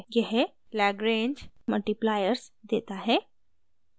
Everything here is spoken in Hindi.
यह lagrange मल्टीप्लायर्स देता है